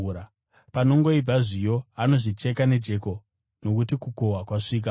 Panongoibva zviyo, anozvicheka nejeko, nokuti kukohwa kwasvika.”